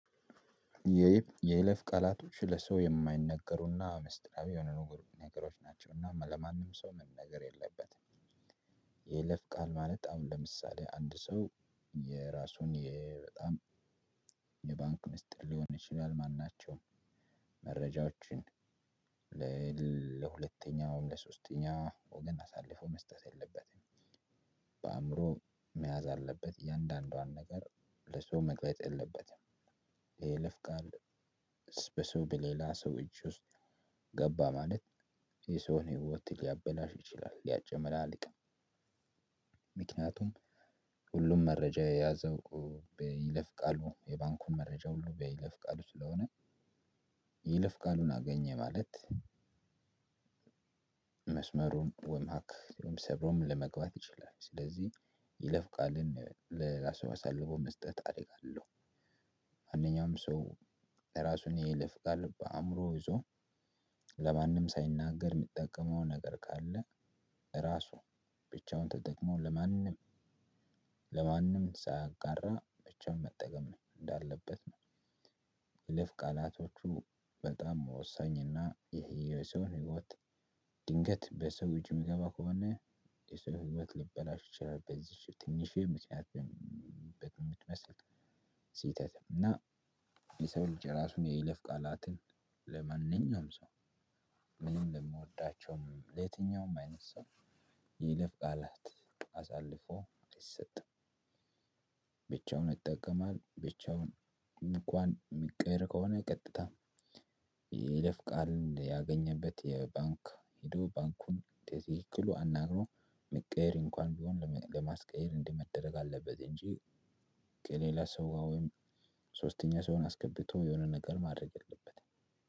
የይለፍ ቃላቶች ለሰው የማይነገሩና ምስጢራዊ የሆኑ ነገሮች ናቸው እና ለማንም ሰው መነገር የለበትም። የይለፍ ቃል ማለት አሁን ለምሳሌ አንድ ሰው የራሱን የ በጣም የባንክ ምስጢር ሊሆን ይችላል ማናቸውም መረጃዎችን እ ለሁለተኛውም ለሶስተኛ ወገን አሳልፎ መስጠት የለበትም። በአእምሮ መያዝ አለበት እያንዳንዷን ነገር ለሰው መቅረጽ የለበትም። የይለፍ ቃል በሰው በሌላ ሰው እጅ ውስጥ ገባ ማለት የሰውን ህይወት ሊያበላሽ ይችላል ሊያጨመላልቅም። ምክንያቱም ሁሉም መረጃ የያዘው እ በይለፍ ቃሉ የባንኩን መረጃ ሁሉ በይለፍ ቃሉ ስለሆነ ይለፍ ቃሉን አገኘ ማለት። መስመሩን ወይም ሃክ ወይም ሰብሮም ለመግባት ይችላል። ስለዚህ ይለፍ ቃልን ለራሱ አሳልፎ መስጠት አደጋ አለው። ማንኛውም ሰው ራሱን ይለፍ ቃል በአእምሮ ይዞ ለማንም ሳይናገር የሚጠቀመው ነገር ካለ ራሱ ብቻውን ተጠቅሞ ለማንም ለማንም ሳያጋራ ብቻውን መጠቀም ነው እንዳለበት ነው። የይለፍ ቃላቶቹ በጣም ወሳኝና የሰውን ህይወት ድንገት በሰው እጅ የሚገባ ከሆነ የሰው ህይወት ሊበላሽ ይችላል። በዚች ትንሽዬ ምክንያት። በምትመስል ስህተት እና የሰው ልጅ የራሱን የይለፍ ቃላትን ለማንኛውም ሰው ምንም ለምወዳቸውም ለየትኛውም አይነት ሰው የይለፍ ቃላት አሳልፎ አይሰጥም። ብቻውን ይጠቀማል ብቻውን እንኳን ሚቀየር ከሆነ ቀጥታ የይለፍ ቃልን ያገኘበት የባንክ ሄዶ ባንኩን በትክክሉ አናግሮ ሚቀየር እንኳን ቢሆን ለማስቀየር እንዲህ መደረግ አለበት እንጂ። ከሌላ ሰው ጋር ወይም ሶስተኛ ሰውን አስገብቶ የሆነ ነገር ማድረግ የለበትም።